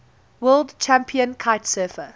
world champion kitesurfer